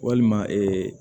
Walima